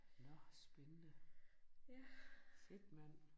Nåh spændende. Shit mand